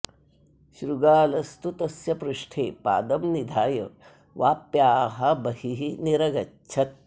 शृगालस्तु तस्य पृष्ठे पादं निधाय वाप्याः बहिः निरगच्छत्